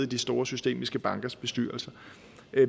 de store systemiske bankers bestyrelser